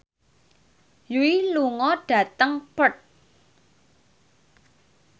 Yui lunga dhateng Perth